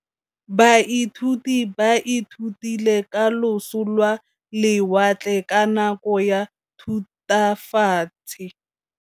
Baithuti ba ithutile ka losi lwa lewatle ka nako ya Thutafatshe.